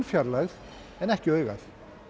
fjarlægð ekki augað